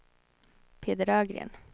Peder Ögren